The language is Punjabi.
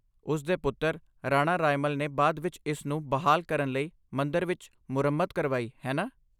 ਉਸ ਦੇ ਪੁੱਤਰ, ਰਾਣਾ ਰਾਇਮਲ ਨੇ ਬਾਅਦ ਵਿਚ ਇਸ ਨੂੰ ਬਹਾਲ ਕਰਨ ਲਈ ਮੰਦਰ ਵਿਚ ਮੁਰੰਮਤ ਕਰਵਾਈ, ਹੈ ਨਾ?